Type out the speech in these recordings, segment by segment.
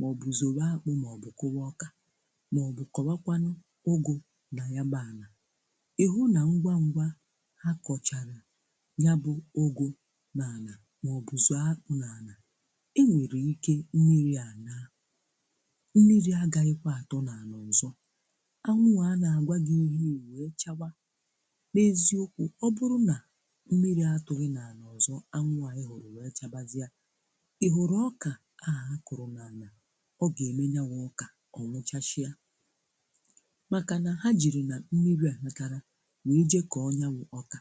maọbụ zọwa akpụ maọbụ kụ́wa ọkà maọbụ kọwakwanụ ụ́gụ na yabụ ana, ị hụ na ngwa ngwa ha kọchalụ yabụ ụ́gụ n'ana maọbụ zọ̀ọ́ akpụ n'ana, e nwere ike mmiri a naa. Mmiri agaghịkwa atụ n'anị ọzọ. Anwụ a a na-agwa gị ihe a e wee chawa. N'eziokwu ọ bụrụ na mmiri atụghị n'anị ọzọ, anwụ a ị hụrụ wee chabazịịa, ị hụrụ ọkà ndị a a kụrụ n'ana, ọ ga-eme ya wụ ọka ọ nwụchachịa. Makana ha jiri na mmiri anatana wee jee kọọ nya wụ ọka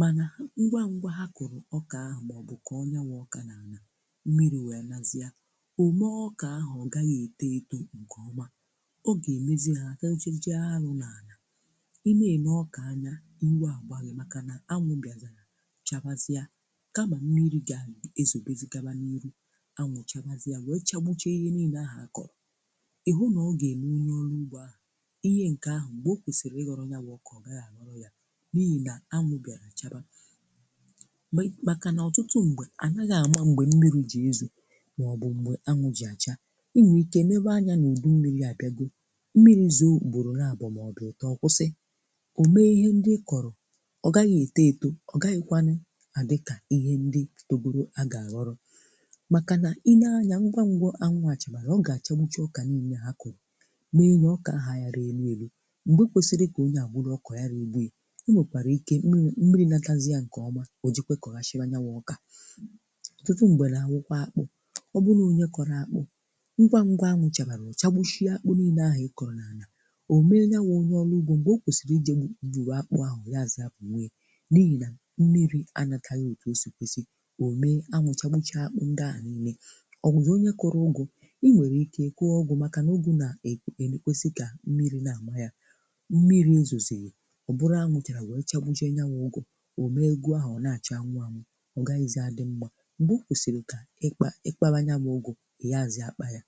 mana ngwa ngwa ha kụrụ ọka ahụ maọbụ kọọ nya wụ ọka n'ana, mmiri wee nazie, o mee ọka ahụ ọ gaghị eto eto nke ọma. Ọ ga-emezi ha. Ị nagene ọka anya, iwe a gba gị makana anwụ bịazịrị chawazie. Kama mmiri ga-ezobezi gaba n'iru, anwụ chabazie wee chagbuchaa ihe niile ahụ a kọrọ. Ị hụ na ọ ga-eme onye ọrụ ugbo ahụ, ihe nke ahụ mgbe o kwesịrị ịghọrọ nya wụ ọka ọ gaghị a ghọrọ ya n'ihi na anwụ bịara chaba. Makana ọtụtụ mgbe a naghị ama mgbe mmiri ji ezo maọbụ mgbe anwụ ji acha. Ị nwee ike nebe anya na udu mmiri abịago. Mmiri zoo, ugboro naabọ maọbụ ịtọ́ ọ kwụsị. O mee ihe ndị ị kọrọ ọ gaghị eto eto, ọ gaghịkwanụ adị ka ihe ndị a ga a ghọrọ manna i nee anya ngwa ngwa anwụ a chabara, ọ ga-achagbucha ọka niile ha kọrọ mee ya ọkà ahụ ayara eru eru. Mgbe kwesịrị ka onye a buru ọka ọ yarọ ebu ya. O nwekwara ike miri mmiri natazịa nke ọma, o jekwaa kọhachịwa nya wụ ọka. Ọtụtụ mgbe na-awụkwa akpụ. Ọ bụrụ nọọ onye kọrọ akpụ, ngwa ngwa anwụ chabara, ọ chagbuchaa akpụ niile ahụ ị kọrọ n'ana. O mee nya wụ onye ọrụ ugbo mgbe o kwesịrị i jee gbu gbughaa akpụ ahụ ọ yaazị agbughe ya n'ihi na mmiri a anataghị otu o si kwesị, o mee anwụ chagbuchaa akpụ ndị aha niile. Ọ bụzị onye kọrọ ụ́gụ, i nwere ike kwụọ ụgwọ maka na ụ́gụ na na-ekwesị ka mmiri na-ama ya. Mmiri ezozighi, ọ bụrụ anwụ chara wee chagbuchaa nya wụ ụ́gụ. O mee ụ́gụ ahụ ọ n-acha anwụ anwụ. Ọ gaghịzị a dị mma mgbe o kwesịrị ka ị kpa ịkpawa nya bụ ụ́gụ, ị yaazị akpa ya.